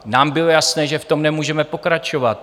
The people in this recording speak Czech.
Nám bylo jasné, že v tom nemůžeme pokračovat.